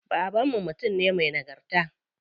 Baban mu mutum ne me nagarta.